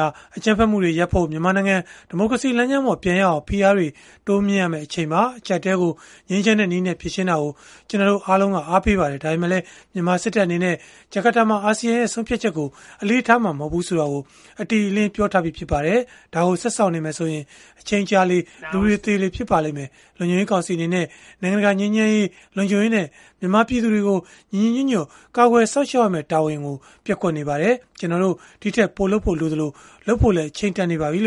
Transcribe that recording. ာ အကြမ်းဖက်မှုတွေရပ်ဖို့၊ မြန်မာနိုင်ငံ ဒီမိုကရေစီလမ်းကြောင်းပေါ် ပြန်ရောက်အောင် ဖိအားတွေ တိုးမြှင့်ရမယ့် အချိန်ပါ။ အကျပ်အတည်းကို ငြိမ်းချမ်းတဲ့နည်းနဲ့ ဖြေရှင်းတာကို ကျနော်တို့အားလုံး အားပေးပါတယ်။ ဒါပေမဲ့လည်း မြန်မာစစ်တပ်အနေနဲ့ ဂျကာတာမှာ ဆုံးဖြတ်ချက်ကို အလေးထားမှာ မဟုတ်ဘူးဆိုတာကို အတိအလင်း ပြောထားပြီး ဖြစ်ပါတယ်။ ဒါကိုဆက်စောင့်နေမယ်ဆိုရင်၊ အချိန်ကြာလေလေ၊ လူတွေသေလေ ဖြစ်လာပါလိမ့်မယ်။ လုံခြုံရေးကောင်စီ အနေနဲ့ နိုင်ငံတကာ ငြိမ်းချမ်းရေး၊ လုံခြုံရေးနဲ့ မြန်မာပြည်သူတွေကို ညီညီညွတ်ညွတ် ကာကွယ်စောင့်ရှောက်ရမယ့် တာဝန်ကို ပျက်ကွက်နေပါတယ်။ ကျနော်တို့ ဒီထက်ပိုလုပ်ဖို့ လိုအပ်သလို၊ လုပ်ဖို့လည်း အချိန်တန်နေပါပြီ။”